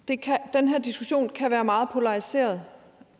den her diskussion kan være meget polariseret